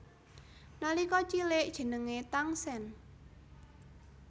Nalika cilik jenengé Tangsen